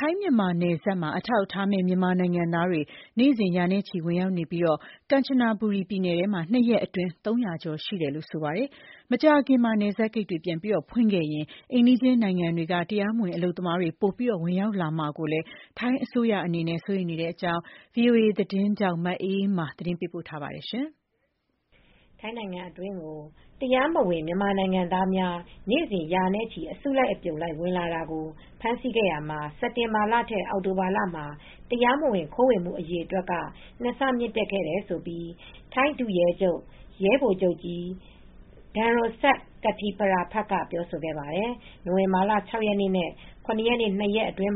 ထိုင်း-မြန်မာနယ်စပ်တွေမှာ အထောက်အထားမဲ့ မြန်မာနိုင်ငံသားတွေ နေ့စဉ် ရာနဲ့ချီ ဝင်ရောက်နေပြီး ကမ်ချနဘူရီပြည်နယ်ထဲမှာ ၂ ရက်အတွင်း ၃၀၀ ကျော်ရှိတယ်လို့ ဆိုပါတယ်။ ထိုင်းအစိုးရအနေနဲ့ မကြာခင်မှာ နယ်စပ်ဂိတ်တွေ ပြန်လည်ဖွင့်ခဲ့ရင် အိမ်နီးချင်းနိုင်ငံတွေက တရားမဝင် အလုပ်သမားတွေ ပိုမိုဝင်ရောက်လာမှာကို စိုးရိမ်ရတယ်လို့ ထိုင်းဒုရဲချုပ်က ပြောပါတယ်။ အပြည့်အစုံကို ထိုင်းအခြေစိုက် ဗွီအိုအေမြန်မာပိုင်း သတင်းထောက် မအေးအေးမာ တင်ပြပေးထားပါတယ်။ ထိုင်းနိုင်ငံအတွင်းကို တရားမဝင် မြန်မာနိုင်ငံသားတွေ နေ့စဉ် ရာနဲ့ချီ အစုလိုက်အပြုံလိုက် ဝင်လာတာကို ဖမ်းဆီးခဲ့ရာမှာ စက်တင်ဘာလထက် အောက်တိုဘာလမှာ တရားမဝင်ခိုးဝင်မှု အရေအတွက်က ၂ ဆ မြင့်တက်ခဲ့တယ်လို့ ထိုင်းဒုရဲချုပ် ရဲဗိုလ်ချုပ်ကြီး ဒမ်ရွန်စတ် ကစ်တီပရဖာ့က ပြောပါတယ်။ နိုဝင်ဘာလ ၆ ရက်နေ့နဲ့ ၇ ရက်နေ့ ၂ ရက်အတွင်း